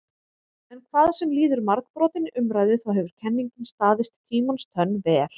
En hvað sem líður margbrotinni umræðu þá hefur kenningin staðist tímans tönn vel.